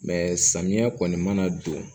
samiyɛ kɔni mana don